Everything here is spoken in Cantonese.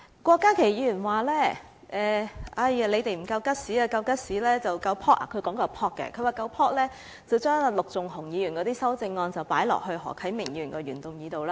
郭家麒議員說我們不夠 guts—— 他說的是不夠 "pop"—— 如果我們夠 "pop"， 便應該把陸頌雄議員的修正案加入何啟明議員的原議案內。